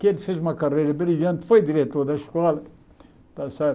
que ele fez uma carreira brilhante, foi diretor da escola, está certo?